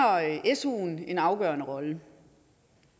suen en afgørende rolle